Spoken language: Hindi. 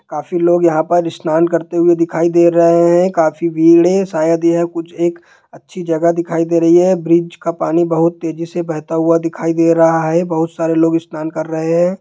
काफी लोग यहाँ पर स्नान करते हुए दिखाई दे रहे हैं काफी भीड़ हैं शायद यह कुछ एक अच्छी जगह दिखाई दे रही हैं ब्रिज का पानी बहुत तेजी से बहता हुआ दिखाई दे रहा हैं बहुत सारे लोग स्नान कर रहे हैं।